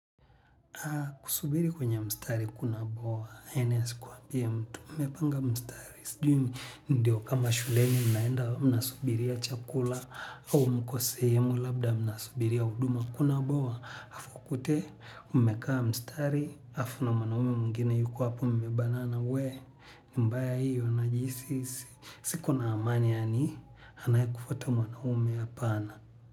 Kusubiri kwenye mstari kuna bwawa, ene asikuambie mtu, umepanga mstari. Sijui ndio kama shuleni, mnaenda mnasubiria chakula, au mko sehemu, labda mnasubiria huduma kuna bwawa. Afu kote, umekaa mstari, afu na mwanaume mwengine yuko hapo mmebanana we, ni mbaya hiyo najihisi, siko na amani yaani, anayekufuata mwanaume hapana.